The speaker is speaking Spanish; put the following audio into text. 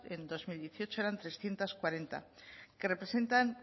en dos mil dieciocho era trescientos cuarenta que representan